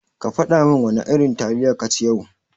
Kafada min wana irin taliya kaci yau.